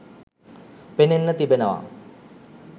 පෙනෙන්න තිබෙනව